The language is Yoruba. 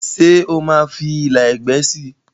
ṣe oma fí ìlà ẹgbẹ sí?